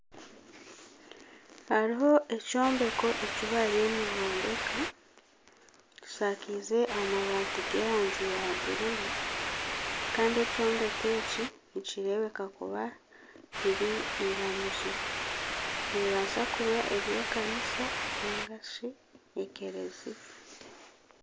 Hariho ekyombeko ekibariyo nibombeka kyishakize amabati g'erangi ya bururu Kandi ekyombeko eki nikirebeka kuba riri eiramizo . Nebasa kuba eri ekanisa ningashi ekereziya.